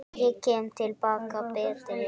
Ég kem til baka betri.